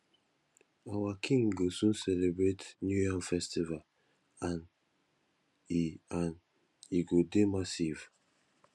our king go soon celebrate new yam festival and e and e go dey massive